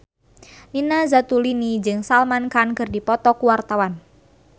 Nina Zatulini jeung Salman Khan keur dipoto ku wartawan